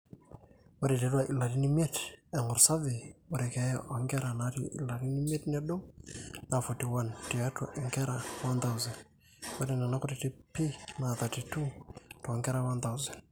ore tiatwa ilarin imiet eng'or survey ore keeya oonkera naata ilarin imiet nedou naa 41 tiatwa inkera 1000, ore nena kutitik pii na 32 toonkera 1000